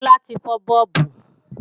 Kọ́lá ti fọ́ bọ́ọ̀bù